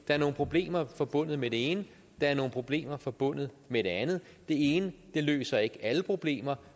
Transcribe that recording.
er nogle problemer forbundet med det ene at der er nogle problemer forbundet med det andet det ene løser ikke alle problemer